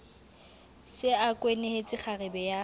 se a kwenehetse kgarebe ya